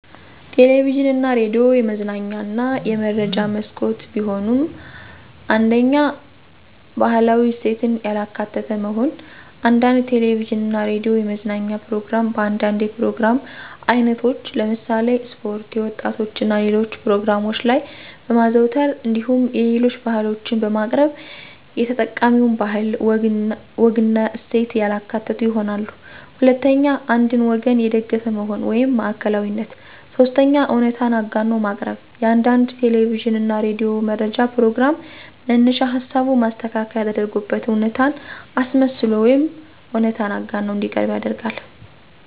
ቴሌቪዥን እና ሬዲዮ የመዝናኛ እና የመረጃ መስኮት ቢሆኑም፤ 1ኛ, ባህላዊ እሴትን ያላካተተ መሆን፦ አንዳንድ ቴለቪዥን እና ሬዲዮ የመዝናኛ ፕሮግራም በአንዳንድ የፕሮግራም አይነቶች ለምሳሌ ስፖርት፣ የወጣቶች እና ሌሎች ፕሮግራሞች ላይ በማዘውተር እንዲሁም የሌሎች ባህሎችን በማቅረብ የተጠቃሚውን ባህል፣ ወግና እሴት ያላካተቱ ይሆናሉ። 2ኛ, አንድን ወገን የደገፈ መሆን (ማዕከላዊነት)፦ 3ኛ, እውነታን አጋኖ ማቅረብ፦ የአንዳንድ ቴለቪዥን እና ሬዲዮ መረጃ ፕሮግራም መነሻ ሀሳቡ ማስተካከያ ተደርጎበት እውነታን አስመስሎ ወይም እውነታን አጋኖ እንዲቀርብ ይደረጋል።